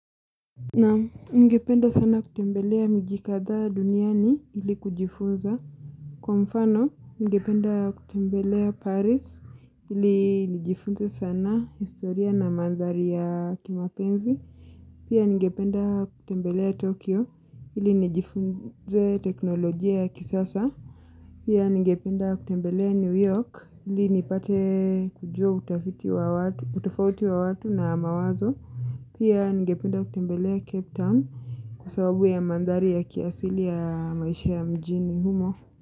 Ningependa sana kutembelea miji kadha duniani ili kujifunza. Kwa mfano, ningependa kutembelea Paris ili nijifunze sana historia na mandhari ya kimapenzi. Pia ngependa kutembelea Tokyo ili nijifunze teknolojia ya kisasa. Pia ningependa kutembelea New York ili nipate kujua utafti wa watu na mawazo. Pia ningependa kutembelea Cape Town kwa sababu ya mandhari ya kiasili ya maishi ya mjini humo.